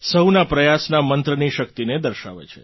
સહુના પ્રયાસના મંત્રની શક્તિને દર્શાવે છે